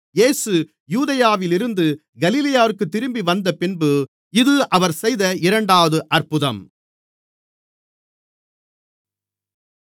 இயேசு யூதேயாவில் இருந்து கலிலேயாவிற்குத் திரும்பிவந்தபின்பு இது அவர் செய்த இரண்டாவது அற்புதம்